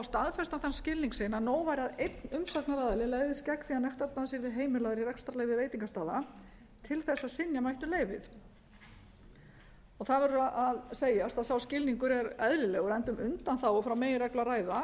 staðfestan þann skilning sinn að nóg væri að einn umsagnaraðili legðist gegn því að nektardans yrði heimilaður í rekstrarleyfi veitingastaða til þess að synja mætti um leyfið það verður að segjast að sá skilningur er eðlilegur enda um undanþágu frá meginreglu að ræða